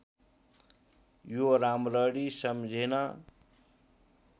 यो राम्ररी सम्झिन